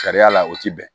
Sariya la o tɛ bɛn